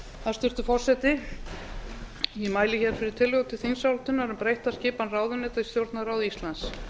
hæstvirtur forseti ég mæli fyrir tillögu til þingsályktunar um breytta skipan ráðuneyta í stjórnarráði íslands